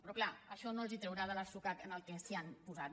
però clar això no els traurà de l’atzucac en el qual s’han posat